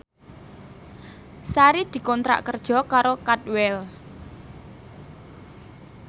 Sari dikontrak kerja karo Cadwell